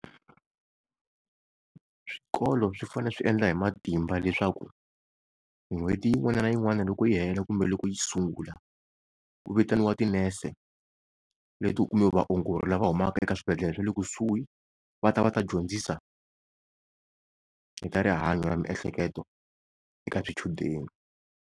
Swikolo swi fanele swi endla hi matimba leswaku n'hweti yin'wana na yin'wana loko yi hela kumbe loko yi sungula, ku vitaniwa tinese kumbe vaongori lava humaka eka swibedhlele swa le kusuhi va ta va ta dyondzisa hi ta rihanyo ra miehleketo eka swichudeni.